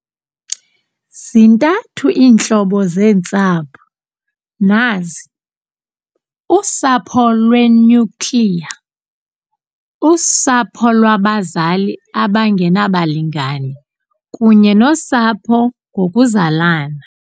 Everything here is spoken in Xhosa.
Zintathu iintlobo zeentsapho, nazi, - "usapho lwe-nuclear ", "usapho lwabazali abangenabalingani kunye nosapho ngokuzalana.